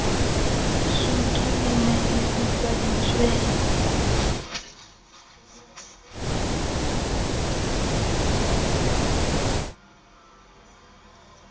sutu e ne e fifaditswe